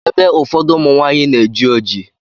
Ébé ụfọdụ ụmụnwanyị na-eji oji.